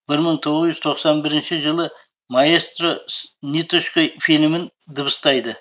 бір мың тоғыз жүз тоқсан бірінші жылы маэстро с ниточкой фильмін дыбыстайды